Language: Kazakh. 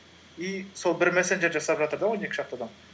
и сол бір мәселе жасап жатыр да он екі шақты адам